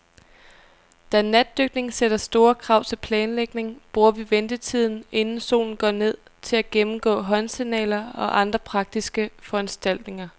Da natdykning sætter store krav til planlægning, bruger vi ventetiden, inden solen går ned, til at gennemgå håndsignaler og andre praktiske foranstaltninger.